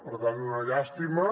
per tant una llàstima